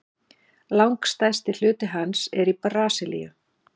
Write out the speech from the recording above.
Langstærsti hluti hans er í Brasilíu.